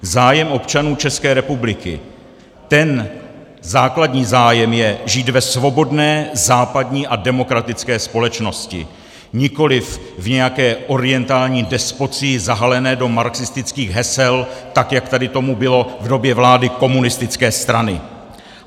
Zájem občanů České republiky, ten základní zájem je žít ve svobodné západní a demokratické společnosti, nikoliv v nějaké orientální despocii zahalené do marxistických hesel, tak jak tady tomu bylo v době vlády komunistické strany.